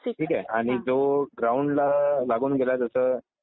ठीक आहे. आणि तो ग्राउंडला लागून गेला जसं